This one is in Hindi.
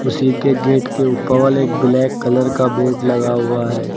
उसी के गेट के उपवल एक ब्लैक कलर का बोर्ड लगा हुआ है।